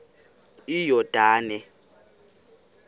iyordane